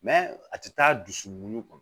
Mɛ a tɛ taa dusukun kɔ